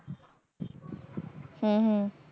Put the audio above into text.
ਹਮ ਹਮ